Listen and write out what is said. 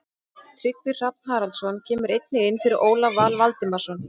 Tryggvi Hrafn Haraldsson kemur einnig inn fyrir Ólaf Val Valdimarsson.